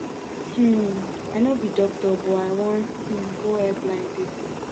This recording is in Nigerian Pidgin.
um i no be doctor but i wan um go help blind people